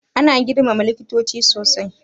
Ana girmama likitoci sosai.